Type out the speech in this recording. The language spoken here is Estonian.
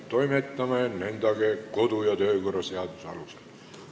Toimetame nendega kodu- ja töökorra seaduse alusel.